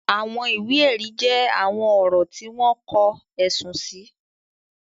Àwọn ìwé ẹ̀rí jẹ́ àwọn ọ̀rọ̀ tí wọ́n kọ, ẹ̀sùn sì.